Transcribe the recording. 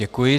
Děkuji.